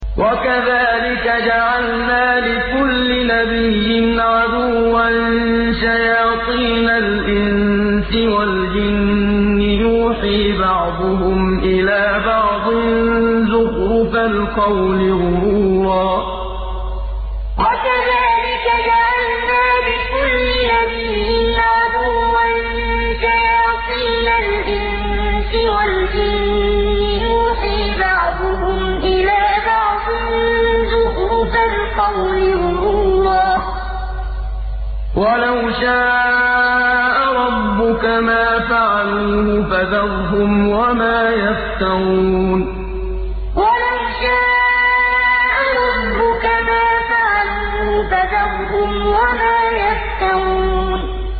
وَكَذَٰلِكَ جَعَلْنَا لِكُلِّ نَبِيٍّ عَدُوًّا شَيَاطِينَ الْإِنسِ وَالْجِنِّ يُوحِي بَعْضُهُمْ إِلَىٰ بَعْضٍ زُخْرُفَ الْقَوْلِ غُرُورًا ۚ وَلَوْ شَاءَ رَبُّكَ مَا فَعَلُوهُ ۖ فَذَرْهُمْ وَمَا يَفْتَرُونَ وَكَذَٰلِكَ جَعَلْنَا لِكُلِّ نَبِيٍّ عَدُوًّا شَيَاطِينَ الْإِنسِ وَالْجِنِّ يُوحِي بَعْضُهُمْ إِلَىٰ بَعْضٍ زُخْرُفَ الْقَوْلِ غُرُورًا ۚ وَلَوْ شَاءَ رَبُّكَ مَا فَعَلُوهُ ۖ فَذَرْهُمْ وَمَا يَفْتَرُونَ